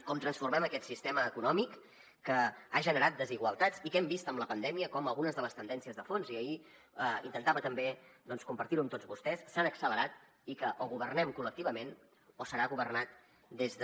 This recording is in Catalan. com transformem aquest sistema econòmic que ha generat desigualtats i que hem vist amb la pandèmia com algunes de les tendències de fons i ahir intentava també doncs compartir ho amb tots vostès s’han accelerat i que o governem col·lectivament o serà governat des de